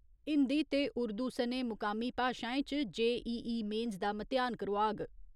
हिंदी ते उर्दू सने मुकामी भाशाएं च जे.ई.ई. मेन्स दा म्तेहान करोआग।